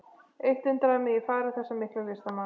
Eitt undraði mig í fari þessa mikla listamanns.